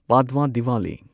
Padwa Diwali